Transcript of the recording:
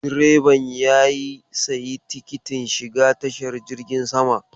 Direban ya sayi tikitin shiga tashar jirgin sama.